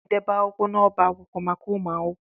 A na-edobe akwụkwọ n'ọba akwụkwọ maka ụmụ akwụkwọ.